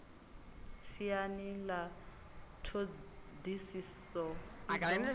siani ḽa ṱhodisiso i do